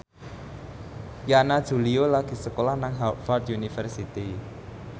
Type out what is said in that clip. Yana Julio lagi sekolah nang Harvard university